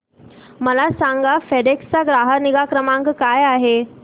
मला सांगा फेडेक्स चा ग्राहक निगा क्रमांक काय आहे